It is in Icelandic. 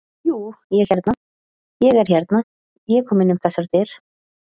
Jú, ég hérna. ég er hérna. ég kom inn um þessar dyr.